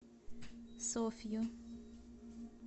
софью